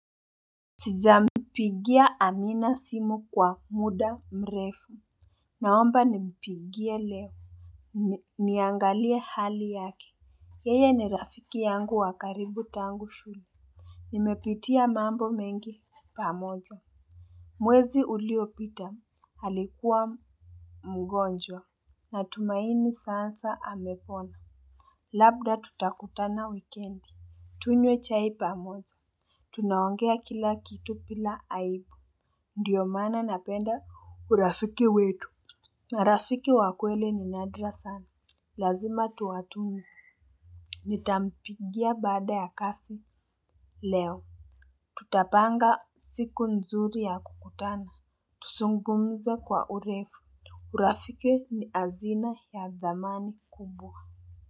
Sijampigia Amina simu kwa muda mrefu. Naomba nimpigie leo. Niangalie hali yake. Yeye ni rafiki yangu wa karibu tangu shule. Nimepitia mambo mengi pamoja. Mwezi uliopita alikuwa mgonjwa. Na tumaini sasa amepona. Labda tutakutana wikendi, tunywe chai pamoja. Tunaongea kila kitu bila aibu. Ndiyo mana napenda urafiki wetu. Urafiki wa kwelini nadra sana. Lazima tuwatunze. Nitampigia baada ya kazi leo. Tutapanga siku nzuri ya kukutana. Tuzungumze kwa urefu. Urafiki ni hazina ya thamani kubwa.